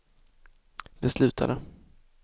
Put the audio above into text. beslutade